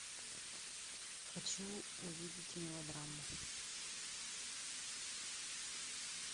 хочу увидеть мелодраму